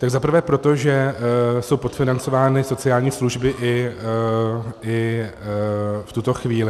Za prvé proto, že jsou podfinancovány sociální služby i v tuto chvíli.